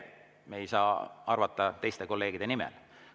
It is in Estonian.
Me ei saa arvata teiste kolleegide nimel.